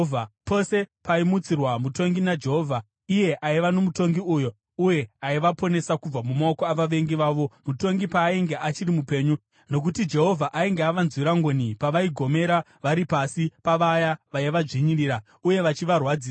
Pose pavaimutsirwa mutongi naJehovha, iye aiva nomutongi uyo, uye aivaponesa kubva mumaoko avavengi vavo, mutongi paainge achiri mupenyu; nokuti Jehovha ainge avanzwira ngoni pavaigomera vari pasi pavaya vaivadzvinyirira uye vachivarwadzisa.